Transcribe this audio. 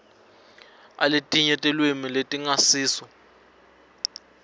aletinye tilwimi letingasiso